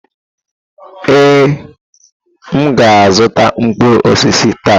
Ee, m ga-azụta mkpụrụ osisi taa.